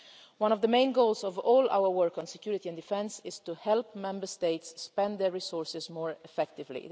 One of the main goals of all our work on security and defence is to help Member States spend their resources more effectively.